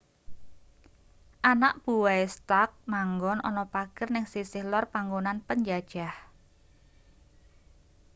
anak buwahe stark manggon ana pager ning sisih lor panggonan penjajah